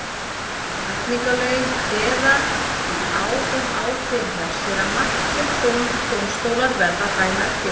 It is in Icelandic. Hegningarlögin kveða því á um ákveðinn refsiramma sem dómstólar verða að dæma eftir.